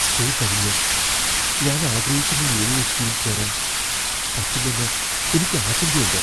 School കഴിഞ്ഞ് ഞാൻ ആഗ്രഹിക്കുന്ന യൂണിവേഴ്സിറ്റിയിൽ ചേരാൻ പറ്റില്ലെന്ന് എനിക്ക് ആശങ്കയുണ്ട്.